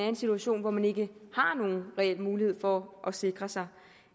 en situation hvor man ikke har nogen reel mulighed for at sikre sig